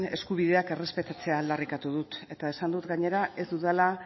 eskubideak errespetatzea aldarrikatu dut eta esan dut gainera ez dudala